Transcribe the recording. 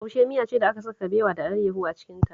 Taushe miya ce da aka saka kabewa da alayyahu a cikinta